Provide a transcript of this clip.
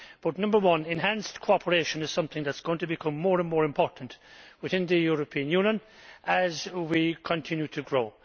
Firstly, enhanced cooperation is something which is going to become more and more important within the European Union as we continue to grow.